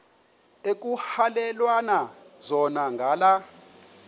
ekuhhalelwana zona ngala